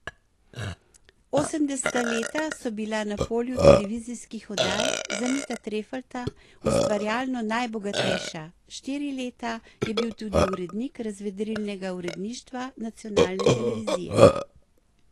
Osemdeseta leta so bila na polju televizijskih oddaj za Mita Trefalta ustvarjalno najbogatejša, štiri leta je bil tudi urednik razvedrilnega uredništva nacionalne televizije.